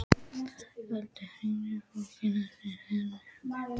Eldon, hringdu í Fólka eftir sjötíu og fimm mínútur.